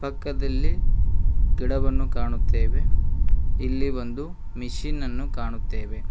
ಪಕ್ಕದಲ್ಲಿ ಗಿಡವನ್ನು ಕಾಣುತ್ತೆವೆ ಇಲ್ಲಿ ಒಂದು ಮಿಷಿನ್ ಅನ್ನು ಕಾಣುತ್ತೆವೆ.